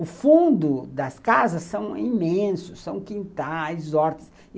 O fundo das casas são imensos, são quintais, hortas.